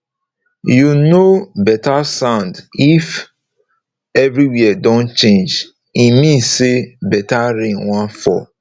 you know better sound if everywhere don change e mean say better rain wan fall